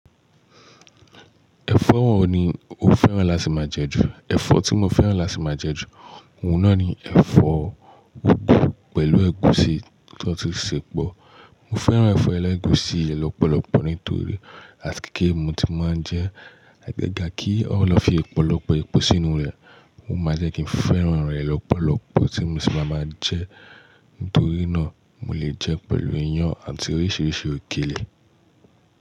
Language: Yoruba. Ẹ̀fọ́ wo ni ó fẹ́ràn láti máa jẹ jù. Ẹ̀fọ́ tí mo fẹ́ràn láti máa jẹ jù, òun náà ni ẹ̀fọ́ ugwu pẹ̀lú ẹ̀gúsí tọ ti ṣẹ̀pọ̀. Mo fẹ́ràn ẹ̀fọ́ ẹlẹ́gùsí yẹn lọ́pọ̀lọpọ̀ nítorí, àti kékeré ni mo tíì máa ń jẹ, àgàgà kí wọ́n lọ fi ọ̀pọ̀lọpọ̀ epo sínú rẹ̀, o máa ń jẹ́ kí n fẹ́ràn rẹ̀ lọ́pọ̀lọpọ̀ tí mo sì máa ma jẹ. Nítorí náà, mo lè jẹ pẹ̀lú iyán àti oríṣiríṣi òkèlè.